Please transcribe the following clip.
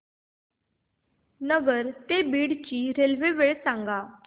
नगर ते बीड ची रेल्वे वेळ सांगा